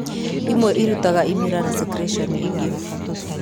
imwe irutaga imira na secretions ige.